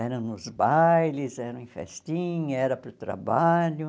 Era nos bailes, era em festinha, era para o trabalho.